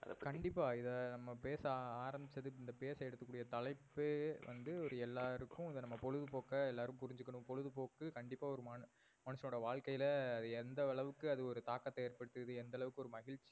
கண்டிப்பா. இத நம்ப பேச ஆரம்பிச்சதே இந்த பேச்சை எடுக்க கூடிய தலைப்பே வந்து ஒரு எல்லாருக்கும் இத நம்ப பொழுதுபோக்க எல்லாரும் புரிஞ்சிகாணோம். பொழுதுபோக்கு கண்டிப்பா ஒரு மனிதனோட வாழ்கைல எந்த அளவுக்கு அது ஒரு தாகத்தை ஏற்படுத்து எந்த அளவுக்கு ஒரு மகிழ்ச்சி